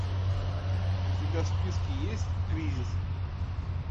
у тебя в списке есть кризис